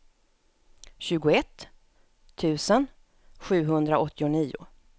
tjugoett tusen sjuhundraåttionio